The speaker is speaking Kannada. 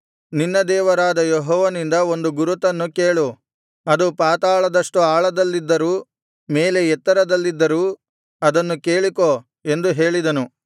ನಿನ್ನ ದೇವರಾದ ಯೆಹೋವನಿಂದ ಒಂದು ಗುರುತನ್ನು ಕೇಳು ಅದು ಪಾತಾಳದಷ್ಟು ಆಳದಲ್ಲಿದ್ದರೂ ಮೇಲೆ ಎತ್ತರದಲ್ಲಿದ್ದರೂ ಅದನ್ನು ಕೇಳಿಕೋ ಎಂದು ಹೇಳಿದನು